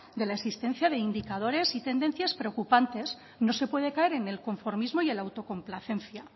de la existencia de indicadores y tendencias preocupantes no se puede caer en el conformismo y en la autocomplacencia